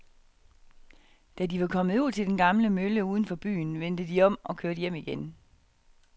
Da de var kommet ud til den gamle mølle uden for byen, vendte de om og kørte hjem igen.